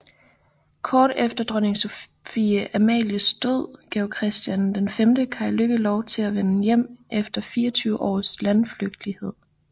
Kort efter dronning Sophie Amalies død gav Christian V Kai Lykke lov til at vende hjem efter 24 års landflygtighed